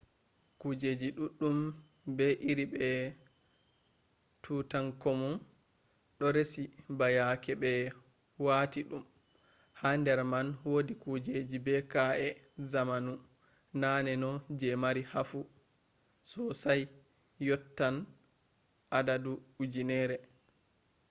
kujeji ɗuɗɗum ɓe iri be tutankamun ɗo resi ba yake ɓe wati ɗum ha nder man wodi kujeji be ka’e zamanu naneno je mari hafu sosai yottatn adadu ujunerre